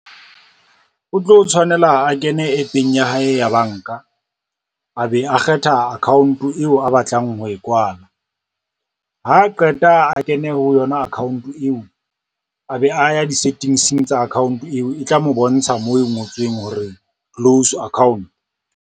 O tlo tshwanela a kene app-eng ya hae ya banka, a be a kgetha account eo a batlang ho e kwala, ha qeta a kene ho yona account eo, a be a ya di-settings-eng tsa account eo e tla mo bontsha moo ho ngotsweng hore close account.